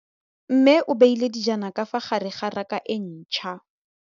Mmê o beile dijana ka fa gare ga raka e ntšha.